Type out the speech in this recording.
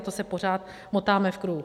A to se pořád motáme v kruhu.